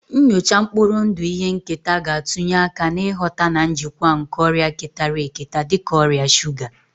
Nnyocha mkpụrụ ndụ ihe nketa ga-atụnye aka n'ịghọta na njikwa nke ọrịa ketara eketa dị ka ọrịa shuga